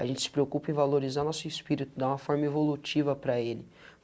A gente se preocupa em valorizar nosso espírito, dar uma forma evolutiva para ele.